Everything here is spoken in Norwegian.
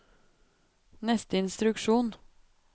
neste instruksjon